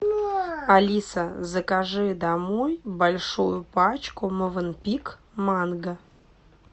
алиса закажи домой большую пачку мовенпик манго